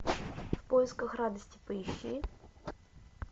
в поисках радости поищи